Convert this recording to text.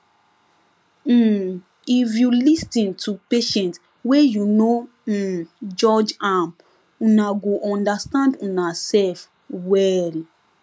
um if you lis ten to patient wey you no um judge am una go understand unasef well